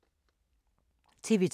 TV 2